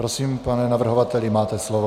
Prosím, pane navrhovateli, máte slovo.